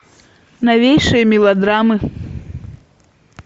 новейшие мелодрамы